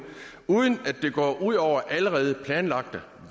uden at det går ud over allerede planlagte